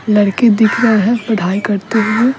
लड़के दिख रहे हैं पढ़ाई करते हुए--